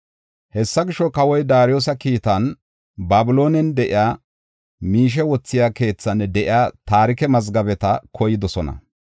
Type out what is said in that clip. Hessa gisho, kawoy Daariyosa kiitan, Babiloone de7iya miishe wothiya keethan de7iya taarike mazgabeta koydosona.